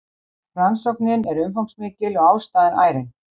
Rannsóknin er umfangsmikil og ástæðan ærin